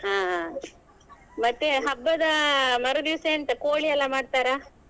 ಹಾ ಮತ್ತೇ ಹಬ್ಬದ ಮರುದಿವಸ ಎಂತ ಕೋಳಿ ಎಲ್ಲಾ ಮಾಡ್ತಾರಾ?